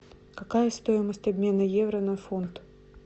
какая стоимость обмена евро на фунт